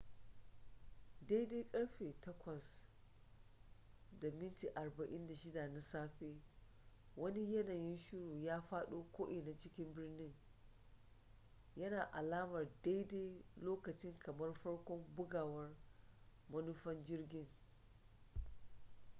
daidai ƙarfe 8:46 na safe wani yanayin shuru ya faɗo ko'ina cikin birnin yana alamar daidai lokacin kamar farkon bugawar manufan jirgin